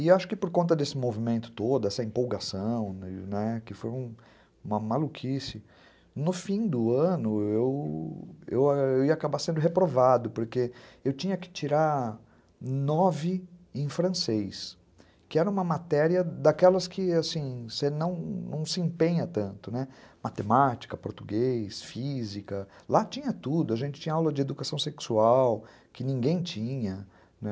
E acho que por conta desse movimento todo, essa empolgação, né, que foi uma maluquice, no fim do ano eu ia acabar sendo reprovado, porque eu tinha que tirar nove em francês, que era uma matéria daquelas que, assim, você não se empenha tanto, né, matemática, português, física, lá tinha tudo, a gente tinha aula de educação sexual, que ninguém tinha, né,